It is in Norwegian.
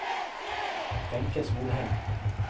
Wenche Solheim